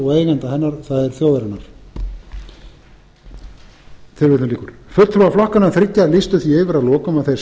og eigenda hennar það er þjóðarinnar fulltrúar flokkanna þriggja lýstu því yfir að lokum að þeir